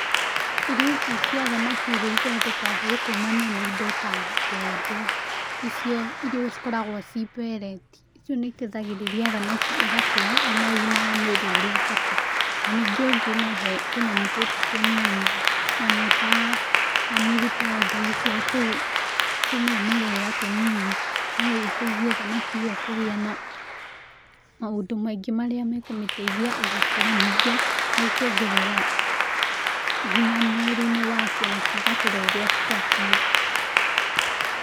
Irio ici cia thamaki iria ithondekagwo kumana na indo ta mbembe icio irio cikoragwo ci mbereti, icio nĩiteithagĩrĩria thamaki ĩgakũra ĩna ũgima wa mwĩrĩ ũrĩa ũbatiĩ, na ningĩ ũngĩmĩhe tũnyamũ tũtũ tũnini nyamũ ta millipede cio tũu tũmĩmerera tũnini no ĩteithie thamaki ĩyo kũgĩa na, maũndũ maingĩ marĩa ĩkũmĩteithia ĩgĩkũra ningĩ nĩkuongerera, hinya mwĩrĩ-inĩ wacio na cigakũra ũrĩa cibatiĩ